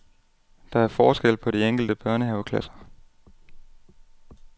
Der er forskel på de enkelte børnehaveklasser.